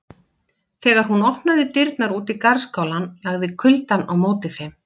Þegar hún opnaði dyrnar út í garðskálann lagði kuldann á móti þeim.